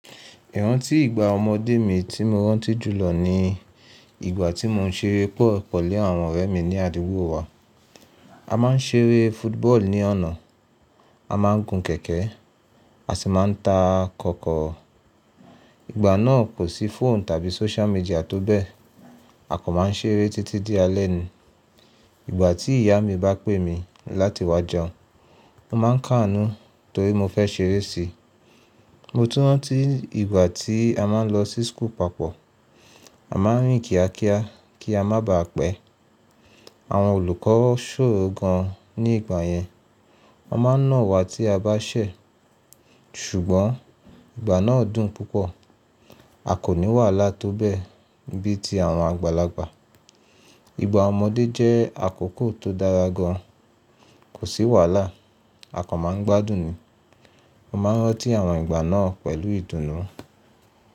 Ìrántí ìgbà ọmọdé mi tí mo rántí jùlọ ni ìgbà tí mò ń ṣeré ball pelu àwọn ọ̀rẹ́ mi ní àdúgbò wa. A máa ń ṣeré football ní ọ̀nà, a máa ń gun kẹ̀kẹ́, a sì máa ń ta kọkọro. Ìgbà náà kò sí phone tàbí social media tó bẹ́ẹ̀. A kan máa ń ṣeré títí di alẹ́ ni. Ìgbà tí ìyá mi bá pè mi láti wá jẹun, mo máa ń kàánú torí mo fẹ́ ṣeré si. Mo tún rántí ìgbà tí a máa ń lọ sí school papọ̀. A máa ń rìn kíákíá kí a má baà pẹ́. Àwọn olùkọ́ ṣòro gan ní ìgbà yẹn. Wọ́n máa ń nà wa tí a bá ṣẹ̀. Ṣùgbọ́n ìgbà náà dùn púpọ̀. A kò ní wàhálà tó bẹ́ẹ̀ bí i tí àwọn àgbàlagbà. Ìgbà ọmọdé jẹ́ àkókò tó dára gan, kò sí wàhálà, a kò máa ń gbádùn ni. Mo máa ń rántí àwọn ìgbà náà pẹ̀lú ìdùnnú.